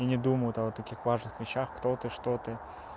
и не думают о вот таких важных вещах кто ты что ты